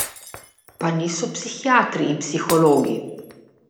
Pa niso psihiatri in psihologi.